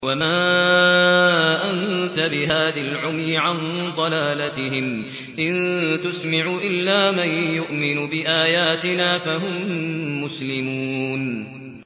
وَمَا أَنتَ بِهَادِ الْعُمْيِ عَن ضَلَالَتِهِمْ ۖ إِن تُسْمِعُ إِلَّا مَن يُؤْمِنُ بِآيَاتِنَا فَهُم مُّسْلِمُونَ